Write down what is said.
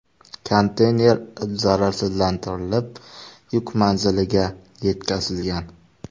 Konteyner zararsizlantirilib yuk manziliga yetkazilgan.